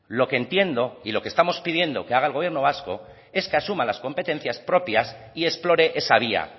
lo que entiendo y lo que estamos pidiendo que haga el gobierno vasco es que asuma las competencias propias y explore esa vía